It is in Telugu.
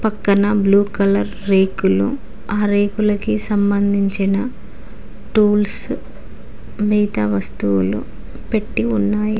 పక్కన బ్లూ కలర్ రేకులు ఆ రేకులకి సంబంధించిన టూల్స్ మిగతా వస్తువులు పెట్టీ ఉన్నాయి.